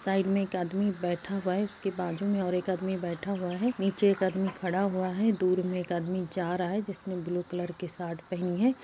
Side में एक आदमी बैठा हुआ है। उसके बाजु में और एक आदमी बैठा हुआ है। नीचे एक आदमी खड़ा हुआ है। दूर में एक आदमी जा रहा है जिसने ब्लू कलर की सार्ट पहनी है।